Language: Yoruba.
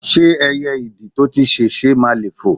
ṣé ẹyẹ ìdì to ti sèse máà le foò?